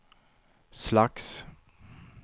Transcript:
slags